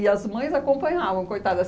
E as mães acompanhavam, coitadas